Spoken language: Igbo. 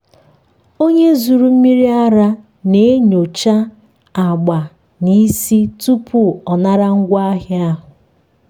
onye zụrụ mmiri ara na-enyocha agba na ísì tupu ọ nara ngwaahịa ahụ.